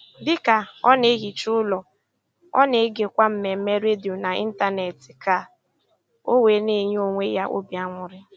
Dịka ọ na - ehicha ụlọ, ọ na-egekwa mmemme redio n'Ịntanet ka ọ wee na - enye onwe ya obi aṅụrị.